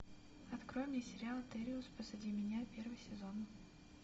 открой мне сериал териус позади меня первый сезон